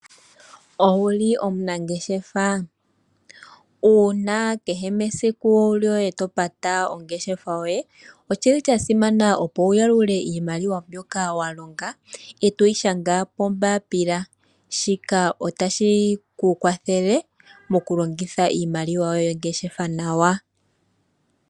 Owuli omunangeshefa? Uuna kehe mesiku lyoye topata ongeshafa yoye oshili sha simana opo wuyalule iimaliwa mbyoka walonga etoyi shanga pombaapila shika otashikukwathele mokulongitha iimaliwa yoye yongeshefa nawa.